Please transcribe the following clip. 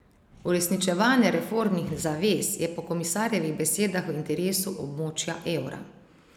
Uresničevanje reformnih zavez je po komisarjevih besedah v interesu območja evra.